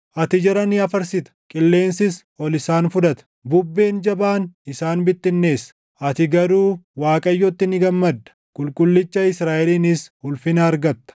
Ati jara ni afarsita; qilleensis ol isaan fudhata; bubbeen jabaan isaan bittinneessa. Ati garuu Waaqayyotti ni gammadda; Qulqullicha Israaʼelinis ulfina argatta.